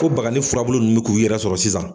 Ko bagani furabulu nunnu bɛ k'u yɛrɛ sɔrɔ sisan.